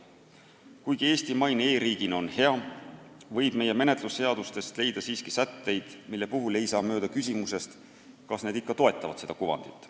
Kuigi Eesti maine e-riigina on hea, võib meie menetlusseadustest leida siiski sätteid, mille puhul ei saa mööda küsimusest, kas need ikka toetavad seda kuvandit.